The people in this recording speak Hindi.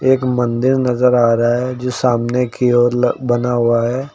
एक मंदिर नजर आ रहा है जो सामने की ओर बना हुआ है।